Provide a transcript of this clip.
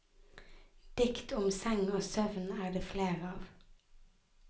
Dikt om seng og søvn er det flere av.